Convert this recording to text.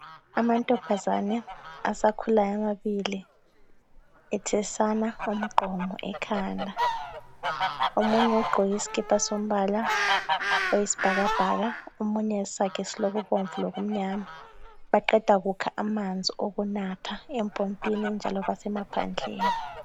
Amantombazane asakhulayo amabili ethesana umgqomo ekhanda omunye ogqoke isikipa sombala wesibhakabhaka, omunye esakhe siloku bomvu lokumnyama baqeda kukha amanzi okunatha empompini njalo basemaphandleni.